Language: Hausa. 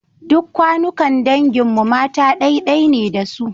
Duk kawunnan dangin mu mata ɗai-ɗai ne da su.